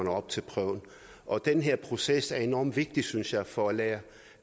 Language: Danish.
op til prøven og den proces er enorm vigtig synes jeg for at lære